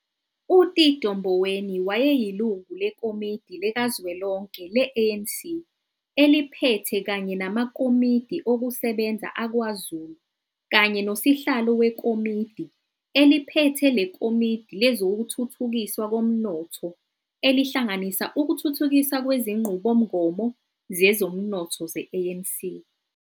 UTito Mboweni wayeyilungu leKomidi likazwelonke le-ANC eliPhethe kanye namaKomiti okuSebenza aKwaZulu kanye noSihlalo weKomidi eliPhethe leKomidi lezokuThuthukiswa koMnotho, elihlanganisa ukuthuthukiswa kwezinqubomgomo zezomnotho ze-ANC.